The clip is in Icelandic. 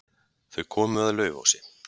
Þau komu að Laufási.